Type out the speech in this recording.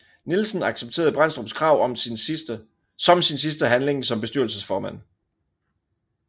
Nielsen accepteret Brændstrups krav som sin sidste handling som bestyrelsesformand